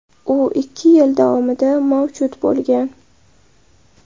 U ikki yil davomida mavjud bo‘lgan.